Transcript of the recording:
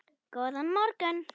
Góðan morgun